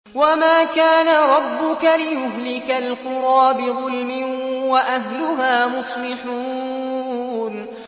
وَمَا كَانَ رَبُّكَ لِيُهْلِكَ الْقُرَىٰ بِظُلْمٍ وَأَهْلُهَا مُصْلِحُونَ